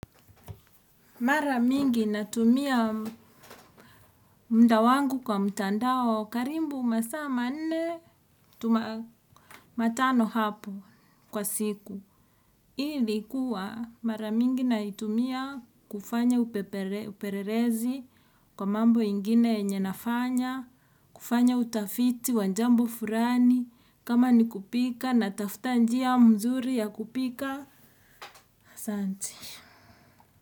Mara mingi natumia muda wangu kwa mtandao karibu masaa manne matano hapo kwa siku. Ili kuwa mara mingi naitumia kufanya upelelezi kwa mambo ingine yenye nafanya, kufanya utafiti wa jambo fulani kama ni kupika natafuta njia mzuri ya kupika. Asante.